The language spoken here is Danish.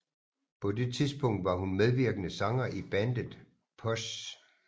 På det tidspunkt var hun medvirkende sanger i bandet POS